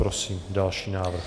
Prosím další návrh.